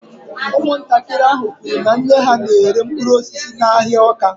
Ụmụntakịrị ahụ kwuru na nne ha na-ere mkpụrụ osisi n’ahịa Awka